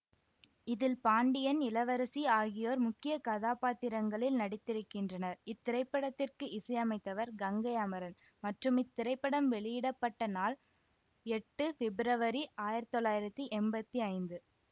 இதில் பாண்டியன் இளவரசி ஆகியோர் முக்கிய கதாபாத்திரங்களில் நடித்திருக்கின்றனர் இத்திரைப்படத்திற்கு இசையமைத்தவர் கங்கை அமரன் மற்றும் இத்திரைப்படம் வெளியிட பட்ட நாள் எட்டு பிப்ரவரி ஆயிரத்தி தொள்ளாயிரத்தி எம்பத்தி ஐந்து